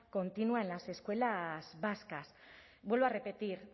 continua en las escuelas vascas vuelvo a repetir